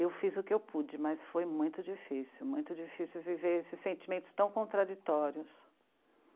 Eu fiz o que eu pude, mas foi muito difícil, muito difícil viver esses sentimentos tão contraditórios.